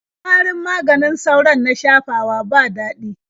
Warin maganin sauron na shafawa ba daɗi.